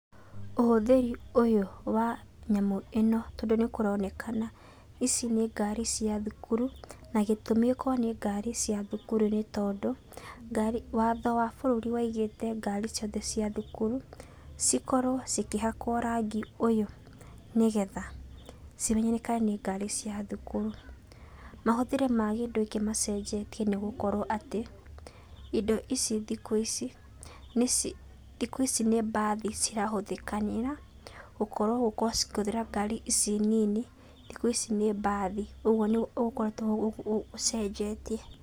Ũhũthĩri ũyũ wa nyamũ ĩno tondũ nĩ kũronekana ici nĩ ngari cia thukuru, na gĩtũmi ĩkorwo nĩ ngari cia thukuru nĩ tondũ, ngari watho wa bũrũri waigĩte ngari ciothe cia thukuru, cikorwo cikĩhakwo rangi ũyũ nĩ getha cimenyekane nĩ ngari cia thukuru. Mahũthĩri ma kĩndũ gĩkĩ macenjetie nĩ gũkorwo atĩ, indo ici thikũ ici nĩ thikũ ici nĩ mbathi cirahũthĩkanĩra gũkorwo gũkorwo cikĩhũthĩra ngari ici nini thikũ ici nĩ mbathi. Ũguo nĩguo gũkoretwo gũcenjetie.